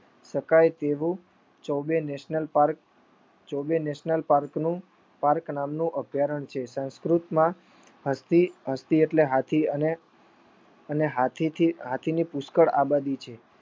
તેવું ચોબેનેશનલ પાર્કનું પાર્ક નું અભ્યારણ છે. સંસ્કૃતમાં હસ્તી હસ્તી એતલે હાથી પુષ્કળ આબાદી છે